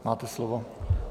Máte slovo.